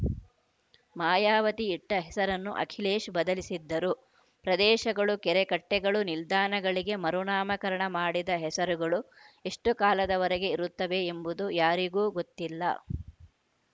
ಮಾಯಾವತಿ ಇಟ್ಟಹೆಸರನ್ನು ಅಖಿಲೇಶ್‌ ಬದಲಿಸಿದ್ದರು ಪ್ರದೇಶಗಳು ಕೆರೆಕಟ್ಟೆಗಳು ನಿಲ್ದಾಣಗಳಿಗೆ ಮರುನಾಮಕರಣ ಮಾಡಿದ ಹೆಸರುಗಳು ಎಷ್ಟುಕಾಲದವರೆಗೆ ಇರುತ್ತವೆ ಎಂಬುದು ಯಾರಿಗೂ ಗೊತ್ತಿಲ್ಲ